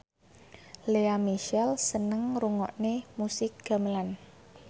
Lea Michele seneng ngrungokne musik gamelan